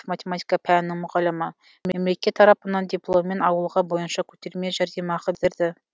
математика пәнінің мұғалімі мемлекет тарапынан дипломмен ауылға бойынша көтерме жәрдемақы берді